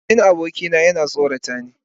Domin abokina yana tsorata ni.